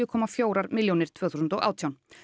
komma fjórar milljónir tvö þúsund og átján